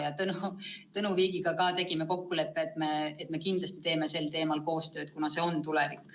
Ja Tõnu Viigiga me leppisime kokku, et me kindlasti teeme sel teemal koostööd, kuna see on tulevik.